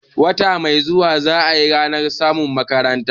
Wata mai zuwa za ayi ranar masu makaranta